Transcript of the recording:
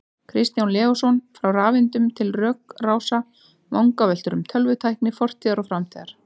Kristján Leósson, Frá rafeindum til rökrása: Vangaveltur um tölvutækni fortíðar og framtíðar